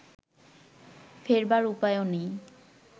ফেরবার উপায়ও নেই